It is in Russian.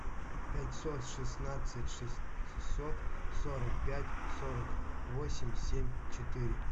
пятьсот шестнадцать шестьсот сорок пять сорок восемь семь четыре